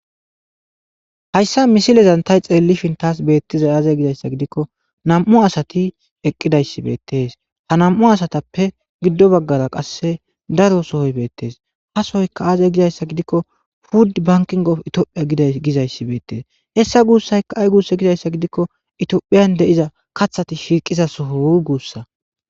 Hayssa misilezan tay xeellifin taas beettiza aaze gizayssa gidikko nam7u asati eqqidayssi beettes ha nam7u asatappe giddo baggara qasse daro sohoy beettees hasoyka aaze gizayssa gidikko pudd bankingof itiophiya dgizayssi beettees hessa guussayka ay gusse gizayssa gidikko itiophiyan de.iza kaththati shiiqiza soho hu guussa.